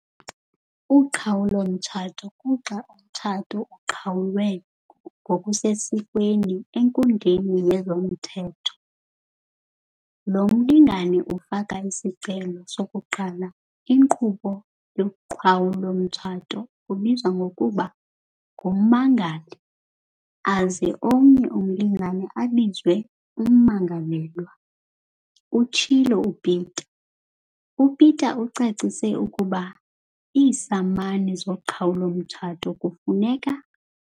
"Uqhawulo-mtshato kuxa umtshato uqhawulwe ngokusesikweni enkundleni yezomthetho. Lo mlingane ufaka isicelo sokuqala inkqubo yoqhawulo-mtshato ubizwa ngokuba ngummangali aze omnye umlingane abizwe ummangalelwa," utshilo uPeta. UPeta ucacise ukuba iisamani zoqhawulo-mtshato kufuneka.